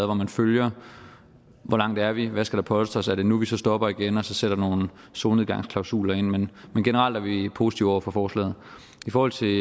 hvor man følger hvor langt er vi hvor skal der polstres er det nu vi så stopper op igen og sætter nogle solnedgangsklausuler ind men generelt er vi positive over for forslaget i forhold til